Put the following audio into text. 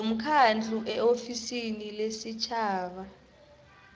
nomkhandlu eofisini lesitjhaba